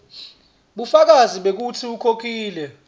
bufakazi bekutsi ukhokhile